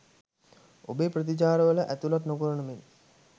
ඔබේ ප්‍රතිචාරවල ඇතළත් නොකරන මෙන්